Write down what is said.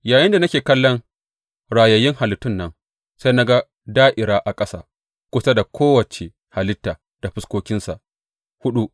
Yayinda nake kallon rayayyun halittun nan, sai na ga da’ira a ƙasa kusa da kowace halitta da fuskokinsa huɗu.